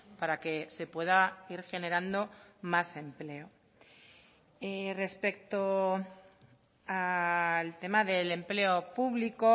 para que se pueda ir generando más empleo respecto al tema del empleo público